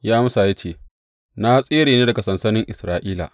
Ya amsa ya ce, Na tsere ne daga sansanin Isra’ila.